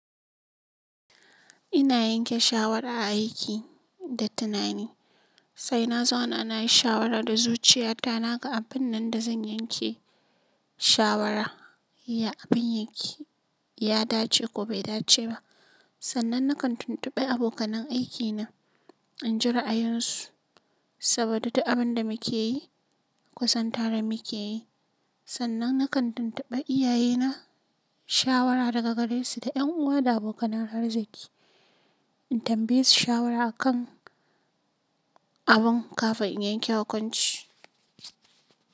Ina yanke shawara a aiki da tunani, sai na zauna na yi shawara da zuciya ta na ga abin nan da zan yanke shawara, abin yanki ya dace ko bai dace ba. Sannan na kan tuntubi abokanan aikina in ji ra'ayin su saboda duk abin da muke yi, kusan tare muke yi. Sannan na kan tuntuba iyaye na shawara daga gare su da yan uwa da abokanan arziki in tambaye su shawara a kan abun kafin in yanke hukunci.